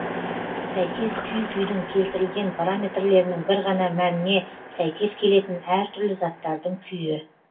сәйкес күй күйдің келтірілген параметрлерінің бір ғана мәніне сәйкес келетін әр түрлі заттардың күйі